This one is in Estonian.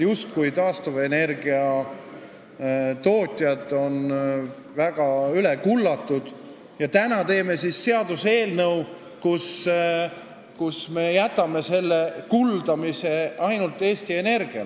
Taastuvenergia tootjad on justkui väga üle kullatud, aga täna teeme siis seaduse, millega jääme kuldama ainult Eesti Energiat.